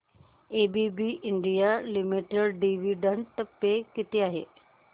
ABB India limited dividend pay किती आहे